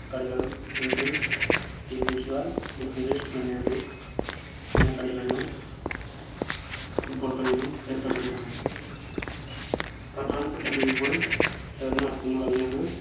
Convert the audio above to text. കളികളും englishenglish car english premier league എന്ന കളികളിലും football കളിയിലും ഏർപ്പെട്ടിരിക്കുന്നു പ്രധാനപ്പെട്ട league മുകൾ ചേർന്ന് നടത്തുന്ന കളിയാണ്